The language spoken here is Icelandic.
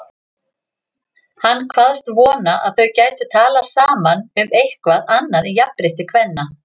Hann kvaðst vona að þau gætu talað saman um eitthvað annað en jafnrétti kvenna.